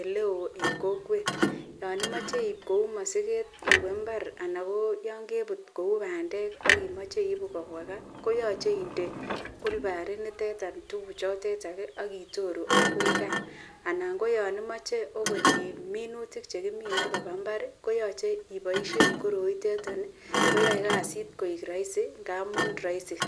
eleoo en kokwet, yoon imoche iiib kouu mosiket iwee imbar anan ko yoon kebut kouu bandek ak imoche iibu kobwa kaa koyoche inde olbariniteton tukuchotetok ak itoru akoi kaa anan ko yoon imoche okot minutik chekimine koba imbar koyoche iboishen koroitet koyoe kasit koik rorisi ng'amun roisi.